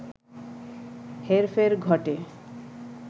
হেরফের ঘটে